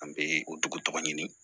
An bɛ o dugu tɔgɔ tɔgɔ ɲini